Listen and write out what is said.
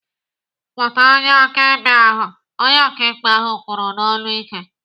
"Kpọta onye akaebe ahụ!" Onye ọkaikpe ahụ kwuru n'olu ike.